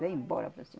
Vem embora para cima.